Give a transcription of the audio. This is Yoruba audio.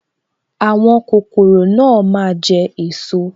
Àwọn kokoro náà máa jẹ esot